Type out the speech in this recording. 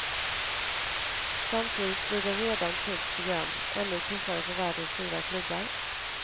Samtidigt blir det redan tufft program, ännu tuffare för världens stora klubbar.